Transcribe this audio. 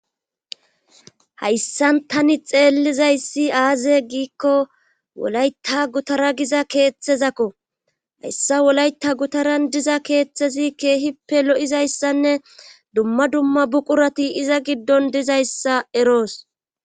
hayssan tani xeellizayssi aaze giikko wolayta gutara giza keeththezakko hayssa wolayta gutaran diza keeththezi keehippe lo7izayssanne dumma dumma buqurati iza giddon dizayssa eroos